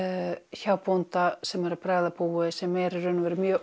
hjá bónda sem er að bregða búi sem er í rauninnni mjög